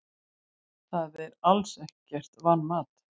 Það er alls ekkert vanmat.